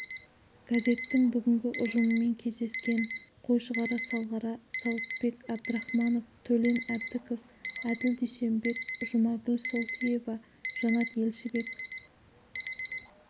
газеттің бүгінгі ұжымымен кездескен қойшығара салғара сауытбек әбдірахманов төлен әбдіков әділ дүйсенбек жұмагүл солтиева жанат елшібек